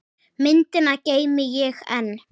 Myndina geymi ég enn.